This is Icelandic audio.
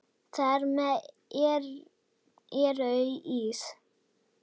Þar með eru þau ís